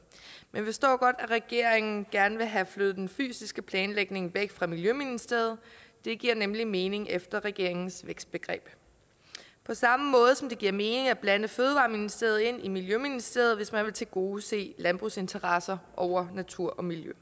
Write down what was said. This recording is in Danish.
men vi forstår godt at regeringen gerne vil have flyttet den fysiske planlægning væk fra miljøministeriet det giver nemlig mening efter regeringens vækstbegreb på samme måde som det giver mening at blande fødevareministeriet ind i miljøministeriet hvis man vil tilgodese landbrugsinteresser over natur og miljø